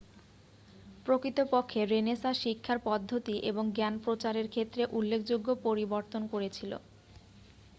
প্রকৃতপক্ষে রেনেসাঁ শিক্ষার পদ্ধতি এবং জ্ঞান প্রচারের ক্ষেত্রে উল্লেখযোগ্য পরিবর্তন করেছিল